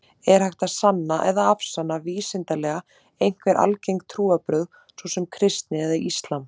Er hægt að sanna eða afsanna vísindalega einhver algeng trúarbrögð, svo sem kristni eða islam?